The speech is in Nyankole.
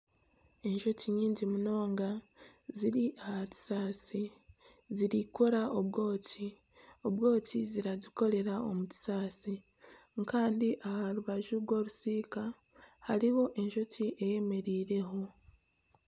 Enjoki nyingi munonga ziri aha kisaasi ziriyo nizikora obwoki, obwoki nizibukorera omu kisasi kandi aha rubaju rw'orusiika hariho enjoki eyemereireho.